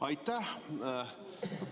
Aitäh!